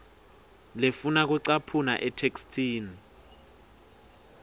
lefuna kucaphuna etheksthini